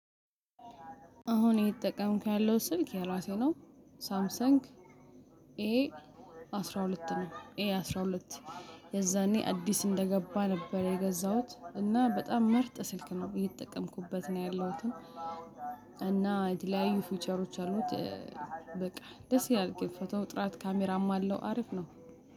አሁን እየተጠቀምኩ ያለው ስልክ ያራሴ ነው። ሳምሰንግ ኤ አስራ ሁለት ነው ኤ አስራ ሁለት። የዛኔ አዲስ እንደገባ ነበር የገዛሁት እና በጣም ምርጥ ስልክ ነው ብዬ የጠቀምኩበት ነው ያለሁትም። እና የተለያዩ ፊውቸሮች አሉት። በቃ ደስ ግን ፎተው ጥራት ካሜራም አለው አሪፍ ነው።